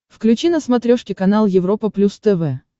включи на смотрешке канал европа плюс тв